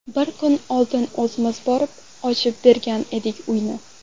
Bir kun oldin o‘zimiz borib, ochib bergandik uyni.